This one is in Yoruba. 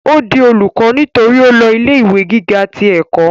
ó di olùkọ́ nítorí ó lọ ilé ìwé gíga ti ẹ̀kọ́